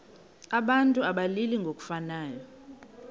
abantu abalili ngokufanayo